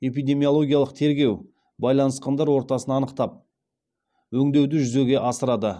эпидемиологиялық тергеу байланысқандар ортасын анықтап өңдеуді жүзеге асырады